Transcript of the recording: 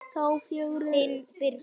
þá fögru steina.